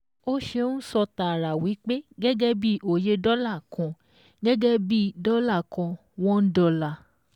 Ó ṣe ń sọ tààrà wípé gẹ́gẹ́ bíi oye dọ́là kan, gẹ́gẹ́ bíi dọ́là kan one dollar